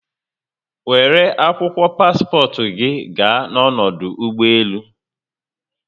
Were akwụkwọ paspọtụ gi gaa n'ọdụ ụgbọelu